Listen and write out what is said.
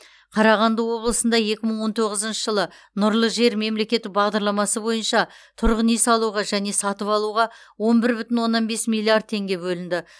қарағанды облысында екі мың он тоғызыншы жылы нұрлы жер мемлекеттік бағдарламасы бойынша тұрғын үй салуға және сатып алуға он бір бүтін оннан бес миллиард теңге бөлінді